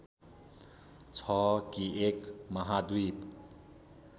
छ कि एक महाद्वीप